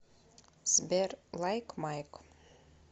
сбер лайк майк